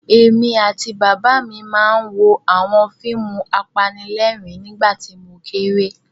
Èmi àti Bàbá mi máa ń wo àwọn fíìmù apanílẹ̀rín nígbà tí mo kéré.